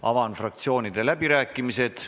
Avan fraktsioonide läbirääkimised.